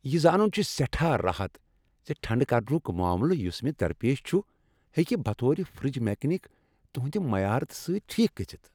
یہ زانن چُھ سیٹھاہ راحت زِ ٹھنڈٕ كرنُك معاملہٕ یُس مےٚ درپیش چُھ ، ہیكہِ بطور فرج میكنِك تُہندِ مہارت سٕتۍ ٹھیكھ گژھِتھ ۔